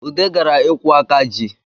Ude gara ikwu aka ji